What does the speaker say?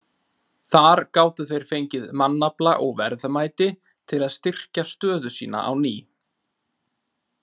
Þar gátu þeir fengið mannafla og verðmæti til að styrkja stöðu sína á ný.